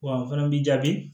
Wa n fana b'i jaabi